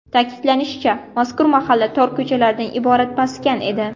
Ta’kidlanishicha, mazkur mahalla tor ko‘chalardan iborat maskan edi.